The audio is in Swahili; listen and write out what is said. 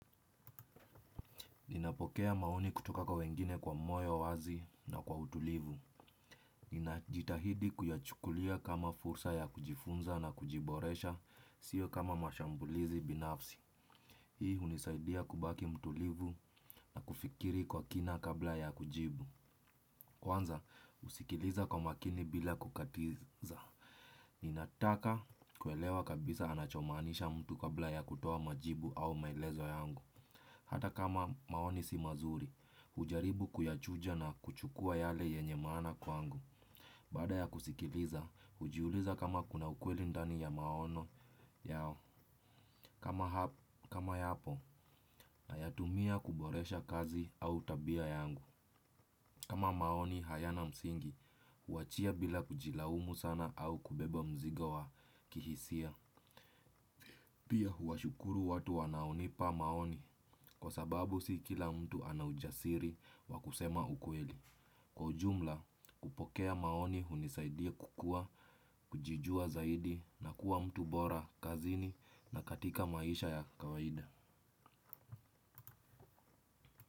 Ninapokea maoni kutoka kwa wengine kwa moyo wazi na kwa utulivu. Ninajitahidi kuyachukulia kama fursa ya kujifunza na kujiboresha, sio kama mashambulizi binafsi. Hii hunisaidia kubaki mtulivu na kufikiri kwa kina kabla ya kujibu. Kwanza, usikiliza kwa makini bila kukatiza ninataka kuelewa kabisa anachomaanisha mtu kabla ya kutoa majibu au maelezo yangu. Hata kama maoni si mazuri, hujaribu kuyachuja na kuchukua yale yenye maana kwangu. Baada ya kusikiliza, hujiuliza kama kuna ukweli ndani ya maono yao. Kama yapo, nitayatumia kuboresha kazi au tabia yangu. Kama maoni hayana msingi, huachia bila kujilaumu sana au kubeba mzigo wa kihisia. Pia huwashukuru watu wanaonipa maoni kwa sababu si kila mtu ana ujasiri wa kusema ukweli. Kwa ujumla kupokea maoni hunisaidia kukua, kujijua zaidi na kuwa mtu bora, kazini na katika maisha ya kawaida.